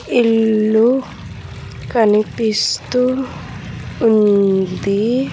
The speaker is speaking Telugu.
ఇల్లు కనిపిస్తూ ఉంది.